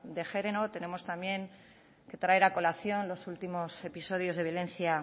de género tenemos también que poner a colación los últimos episodios de violencia